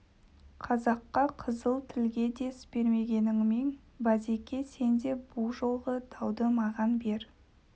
қазаққа қызыл тілге дес бермегеніңмен базеке сен де бұ жолғы дауды маған бер